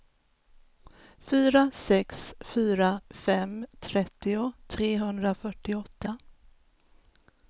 fyra sex fyra fem trettio trehundrafyrtioåtta